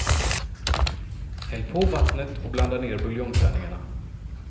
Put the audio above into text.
Häll på vattnet och blanda ner buljongtärningarna.